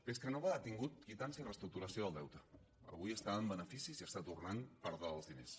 pescanova ha tingut quitança i reestructuració del deute avui està en beneficis i està tornant part dels diners